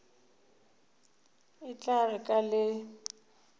e tla re ka le